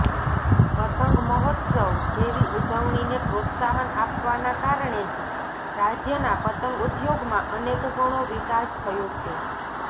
પતંગમહોત્સવ જેવી ઉજવણીને પ્રોત્સાહન આપવાના કારણે જ રાજ્યના પતંગ ઉદ્યોગમાં અનેકગણો વિકાસ થયો છે